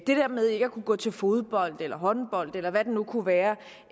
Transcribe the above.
det der med ikke at kunne gå til fodbold eller håndbold eller hvad det nu kunne være